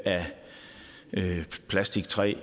af plastik træ